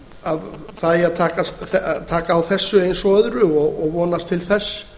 að það eigi að taka á þessu eins og öðru og vonast til þess